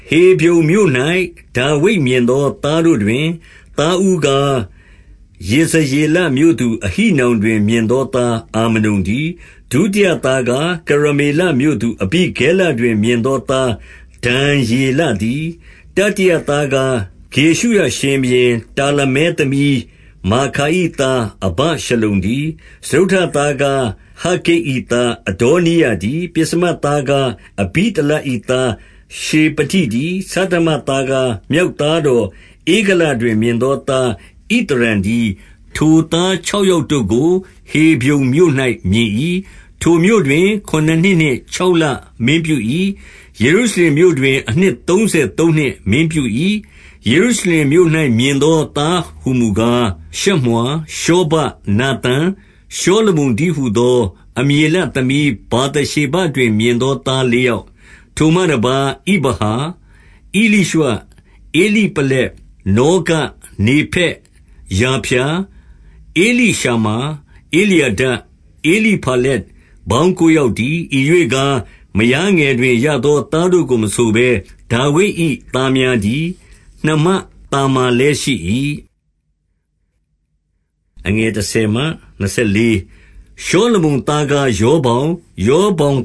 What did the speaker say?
ဟေဗြုန်မြို့၌ ဒါဝိဒ်မြင်သောသားတို့တွင် သားဦးကား၊ ယေဇရေလမြို့သူ အဟိနောင်တွင် မြင်သောသား အာမနုန်တည်း။ ဒုတိယသားကား၊ ကရ မေလမြို့သူ အဘိဂဲလတွင် မြင်သောသား ဒံယေလ တည်း။ 2 တတိယသားကား၊ ဂေရှုရရှင်ဘုရင် တာလမဲ သမီးမာခါ၏သား အဗရှလုံတည်း။ စတုတ္ထသားကား၊ ဟဂ္ဂိတ်၏သား အဒေါနိယတည်း။ 3 ပဥ္စမသားကား အဘိတလ၏သားရှေဖတိတည်း။ ဆဌမသားကား၊ မြောက်သားတော် ဧဂလတွင် မြင်သော သား ဣသရံတည်း။ 4 ထိုသားခြောက်ယောက်တို့ကို ဟေဗြုန်မြို့၌ မြင်၏။ ထိုမြို့တွင် ခုနစ်နှစ်နှင့်ခြောက်လမင်းပြု၏။ ယေရုရှလင်မြို့တွင် အနှစ်သုံးဆယ်သုံးနှစ်မင်းပြု၏။ 5 ယေရုရှလင်မြို့၌မြင်သောသားဟူမူကား၊ ရှမွာ၊ ရှောဗပ်၊ နာသန်၊ ရှောလမုန်တည်းဟူသော အမျေလ သမီး ဗာသရှေဘတွင် မြင်သောသား လေးယောက်။ 6 ထိုမှတပါး၊ ဣဗဟာ။ ဧလိရွှ၊ ဧလိပလက်။ 7 နောဂ၊ နေဖက်၊ ယာဖျာ၊ 8 ဧလိရှမာ၊ ဧလျာဒ၊ ဧလိဖလက်၊ ပေါင်းကိုး ယောက်တည်း။ 9 ဤရွေ့ကားမယားငယ်တွင်ရသောသားတို့ကို မဆိုဘဲ ဒါဝိဒ်၏ သားများတည်း။ နှမသာမာလည်းရှိ၏။ 10 ရှောလမုန်သားကား ရောဗောင်၊ ရောဗောင်